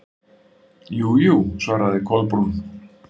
Jú, jú- svaraði Kolbrún.